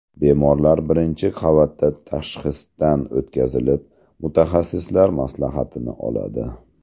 Bemorlar birinchi qavatda tashxisdan o‘tkazilib, mutaxassislar maslahatini oladi.